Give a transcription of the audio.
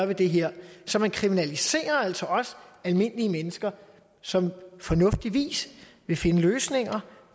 det her så man kriminaliserer altså også almindelige mennesker som fornuftigvis vil finde løsninger